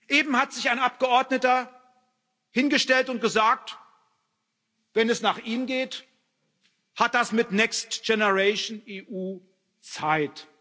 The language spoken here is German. Eben hat sich ein Abgeordneter hingestellt und gesagt Wenn es nach ihm geht, hat das mit Next Generation EU Zeit.